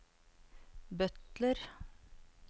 butler